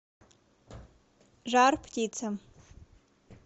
жар птица